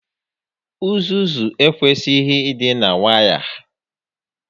Uzuzu ekwesighi ị dị na waya